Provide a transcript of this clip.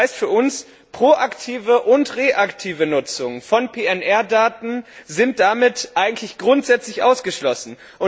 Das heißt für uns Proaktive und reaktive Nutzung von Fluggastdaten sind damit eigentlich grundsätzlich ausgeschlossen.